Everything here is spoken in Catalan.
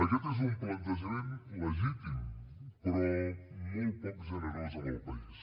aquest és un plantejament legítim però molt poc generós amb el país